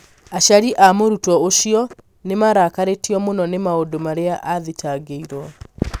aciari a mũrutwo ũcio nĩ marakarĩtio mũno nĩ maũndũ marĩa athitangĩirwo